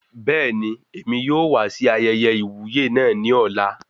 Bẹẹni, èmi yóò wá sí ayẹyẹ iwuye náà ní ọ̀la